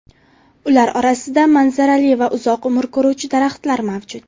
Ular orasida manzarali va uzoq umr ko‘ruvchi daraxtlar mavjud.